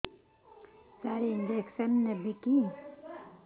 ସାର injection ନେବିକି